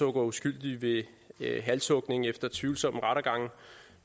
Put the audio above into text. uskyldige ved halshugning efter tvivlsomme rettergange